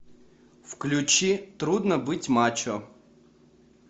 включи трудно быть мачо